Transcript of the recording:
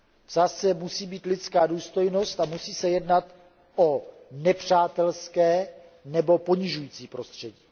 V sázce musí být lidská důstojnost a musí se jednat o nepřátelské nebo ponižující prostředí.